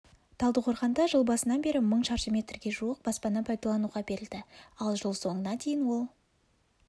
талдықорғанда жыл басынан бері мың шаршы метрге жуық баспана пайдалануға берілді ал жыл соңына дейін ол